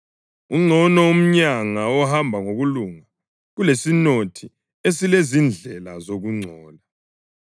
Ungcono umyanga ohamba ngokulunga kulesinothi esilezindlela zokungcola.